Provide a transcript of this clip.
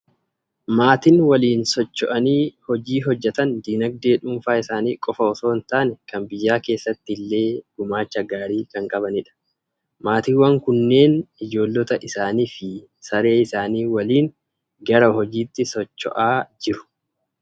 Maatiin waliin socho'anii hojii hojjetan dinagdee dhuunfaa isaanii qofaa osoo hin taane kan biyyaa keessatti illee gumaacha gaarii kan qabaatanidha. Maatiiwwan kunneen ijoollota isaanii fi saree isaanii waliin gara hojiitti socho'aa jiru.